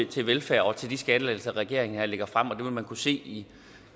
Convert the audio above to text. til velfærd og til de skattelettelser regeringen her lægger frem og det vil man kunne se i